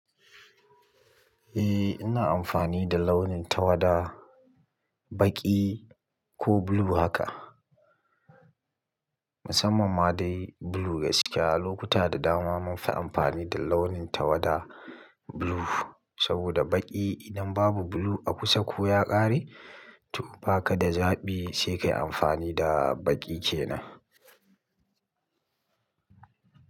Eh, ina amfani da launin tawada, baƙi ko blue haka. Musamman ma dai blue gaskiya. Lokuta da dama munfi amfani da launin tawada blue saboda baƙi idan babu blue a kusa ko ya ƙare, to ba ka da zaɓi sai ka yi amfani da baƙi kenan.